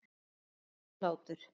Bros og hlátur.